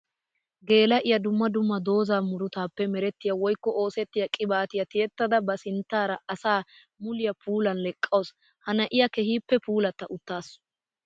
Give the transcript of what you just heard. Geela'iya dumma dumma dooza muruttappe merettiya woykko oosettiya qibaatiya tiyettadda ba sinttara asaa muliya puulan leqqawusu. Ha na'iya keehippe puulatta uttaasu.